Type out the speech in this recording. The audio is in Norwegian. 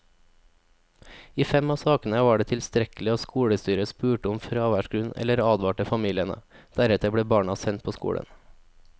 I fem av sakene var det tilstrekkelig at skolestyret spurte om fraværsgrunn eller advarte familiene, deretter ble barna sendt på skolen.